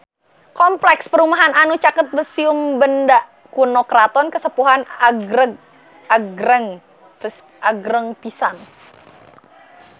Kompleks perumahan anu caket Museum Benda Kuno Keraton Kasepuhan agreng pisan